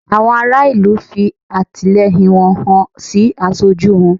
Àwọn ará ìlú fi àtìlẹyìn wọn hàn sí aṣojú wọn